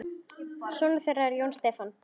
Sonur þeirra er Jón Stefán.